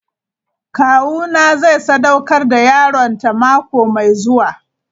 Kawuna zai sadaukar da yaronta mako mai zuwa.